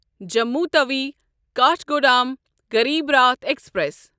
Jammu Tawi Kathgodam Garib Rath express